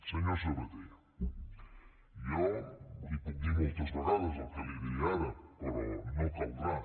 senyor sabaté jo li puc dir moltes vegades el que li diré ara però no caldrà